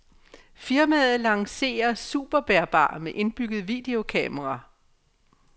Firmaet lancerer superbærbar med indbygget videokamera.